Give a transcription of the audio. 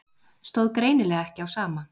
Stóð greinilega ekki á sama.